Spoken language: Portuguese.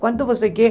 Quanto você quer?